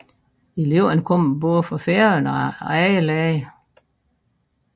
Eleverne kommer både fra Færøerne og andre lande